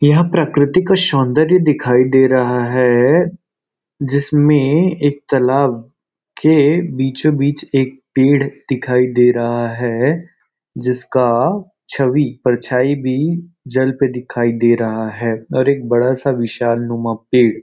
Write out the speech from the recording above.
यह प्रकृतिक सौंदर्य दिखाई दे रहा है जिसमें एक तालाब के बीचों बीच एक पेड़ दिखाई दे रहा है जिसका छवि परछाई भी जल पर दिखाई दे रहा है और एक बड़ा सा विशाल नुमा पेड़ --